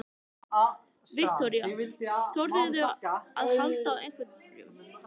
Viktoría: Þorðirðu að halda á einhverjum?